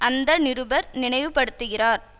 அந்த நிருபர் நினைவு படுத்துகிறார்